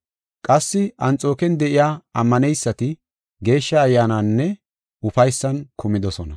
Qassi Anxooken de7iya ammaneysati Geeshsha Ayyaananinne ufaysan kumidosona. Phawuloosi Wongela Sabbakanaw Bida Koyro Ogiya